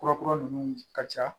Kura kura ninnu ka ca